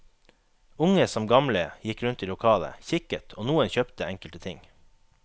Unge som gamle gikk rundt i lokalet, kikket og noen kjøpte enkelte ting.